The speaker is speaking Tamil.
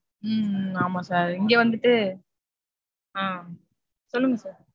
ஹம் ஹம் ஆமா sir. இங்க வந்துட்டு ஆஹ் சொல்லுங்க sir.